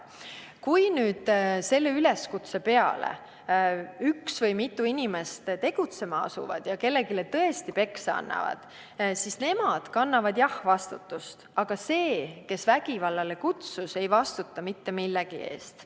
Kui selle üleskutse peale üks või mitu inimest tegutsema asuvad ja kellelegi tõesti peksa annavad, siis nemad kannavad vastutust, aga see, kes vägivallale kutsus, ei vastuta mitte millegi eest.